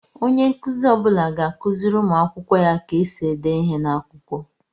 Onye nkụzi ọbula ga-akụziri ụmụ akwụkwọ ya ka esi ede ihe n'akwụkwọ.